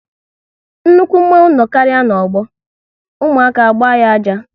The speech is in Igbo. Nnukwu mmanwu no karịa n'ọgbọ, ụmụaka agba ya ájá